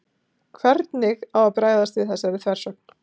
hvernig á að bregðast við þessari þversögn